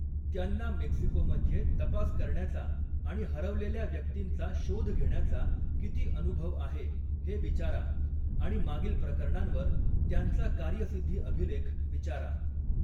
त्यांना मेक्सिकोमध्ये तपास करण्याचा आणि हरवलेल्या व्यक्तींचा शोध घेण्याचा किती अनुभव आहे हे विचारा आणि मागील प्रकरणांवर त्यांचा कार्यसिद्धी अभिलेख विचारा.